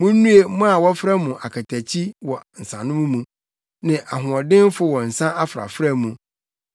Munnue mo a wɔfrɛ mo akatakyi wɔ nsanom mu ne ahoɔdenfo wɔ nsa afrafra mu.